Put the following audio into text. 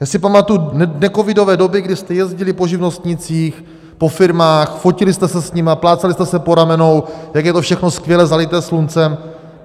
- Já si pamatuji necovidové doby, kdy jste jezdili po živnostnících, po firmách, fotili jste se s nimi, plácali jste se po ramenou, jak je to všechno skvělé, zalité sluncem.